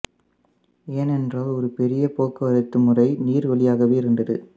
ஏனென்றால் ஒரு பெரிய போக்குவரத்து முறை நீர் வழியாகவே இருந்தது